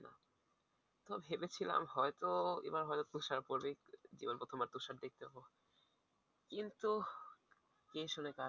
তো ভেবেছিলাম হয়তো এবার হয়তো তুষার পরবেই এবার প্রথমবার তুষার দেখতে পাবো। কিন্তু কে শুনে কার কথা